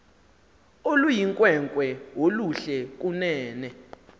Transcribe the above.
oluyinkwenkwe oluhle kunene